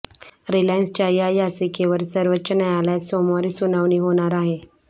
रिलायन्सच्या या याचिकेवर सर्वोच्च न्यायालयात सोमवारी सुनावणी होणार आहे